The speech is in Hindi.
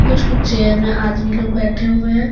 कुछ कुछ चेयर में आदमी लोग बैठें हुएं हैं।